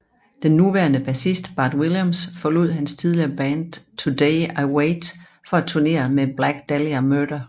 Den nuværende bassist Bart Williams forlod hans tidligere band Today I Wait for at turnére med Black Dahlia Murder